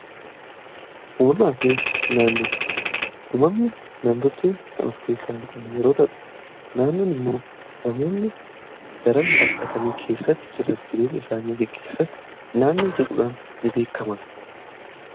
uumamaa fi naannoo uumamani namtolchee kan of keessaa qabne yeroota'u, naannoon immoo namoonni daran baladhatanii keessatti jiruuf jireenya isaanii geggeessa naannoo jedhuudhaan ni beekama.